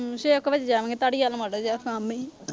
ਛੇ ਕ ਵਜੇ ਜਾਵਾਂਗੇ, ਧਾਲੀਵਾਲ ਮਾੜਾ ਜਿਹਾ ਕੰਮ ਸੀ।